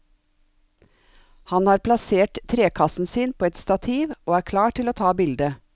Han har plassert trekassen sin på et stativ og er klar til å ta bilde.